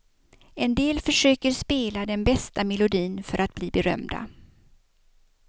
En del försöker spela den bästa melodin för att bli berömda.